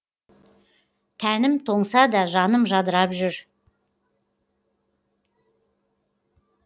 тәнім тоңса да жаным жадырап жүр